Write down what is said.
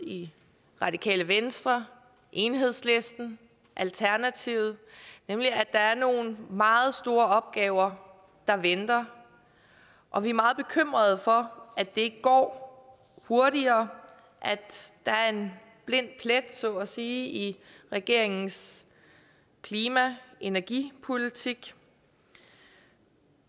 radikale venstre enhedslisten og alternativet nemlig i at der er nogle meget store opgaver der venter og vi er meget bekymrede for at det ikke går hurtigere at der er en blind plet så at sige i regeringens klima og energipolitik